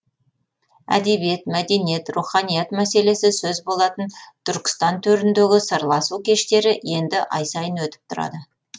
әдебиет мәдениет руханият мәселесі сөз болатын түркістан төріндегі сырласу кештері енді ай сайын өтіп тұрады